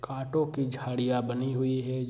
कांटो की झाड़ियाँ बनी हुई है।